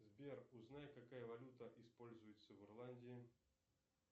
сбер узнай какая валюта используется в ирландии